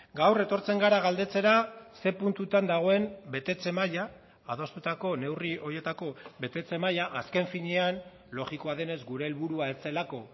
gaur etortzen gara galdetzera ze puntutan dagoen betetze maila adostutako neurri horietako betetze maila azken finean logikoa denez gure helburua ez zelako